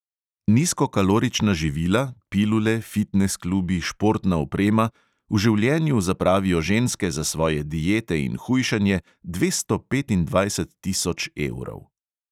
Nizko kalorična živila, pilule, fitnes klubi, športna oprema – v življenju zapravijo ženske za svoje diete in hujšanje dvesto petindvajset tisoč evrov.